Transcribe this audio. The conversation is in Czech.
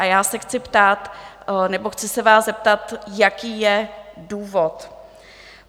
A já se chci ptát nebo chci se vás zeptat, jaký je důvod.